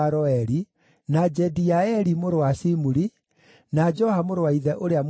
na Jediaeli mũrũ wa Shimuri, o na Joha mũrũ wa ithe ũrĩa Mũtizi,